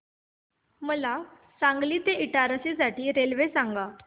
मला सांगली ते इटारसी साठी रेल्वे सांगा